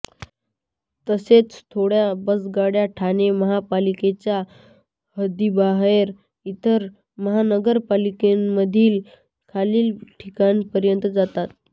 तसेच थोड्या बसगाड्या ठाणे महापालिकेचा हद्दीबाहेर इतर महानगरपालिकांमधील खालील ठिकाणापर्यंत जातात